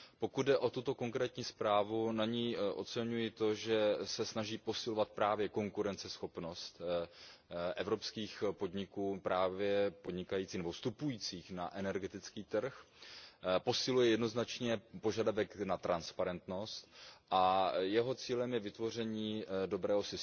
Pokud jde o tuto konkrétní zprávu, na ní oceňuji to, že se snaží posilovat právě konkurenceschopnost evropských podniků vstupujících na energetický trh, posiluje jednoznačně požadavek na transparentnost a jejím cílem je vytvoření dobrého